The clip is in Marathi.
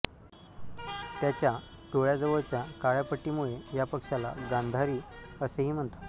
त्याच्या डोळ्याजवळच्या काळ्या पट्टीमुळे या पक्ष्याला गांधारी असेही म्हणतात